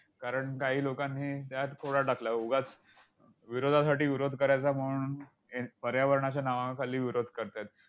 कारण काही लोकांनी त्यात खोडा टाकला. व उगाच विरोधासाठी विरोध करायचा म्हणून पर्यावरणाच्या नावाखाली विरोध करतायत.